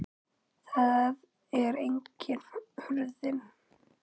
Þar er einnig hurðin.